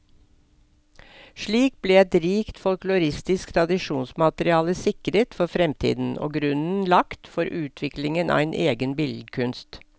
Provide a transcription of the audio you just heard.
Slik ble et rikt folkloristisk tradisjonsmateriale sikret for fremtiden, og grunnen lagt for utviklingen av en egen billedkunst.